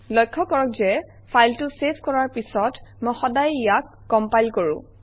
লক্ষ্য কৰক যে ফাইলটো চেভ কৰাৰ পিছত মই সদায়েই ইয়াক কমপাইল কৰোঁ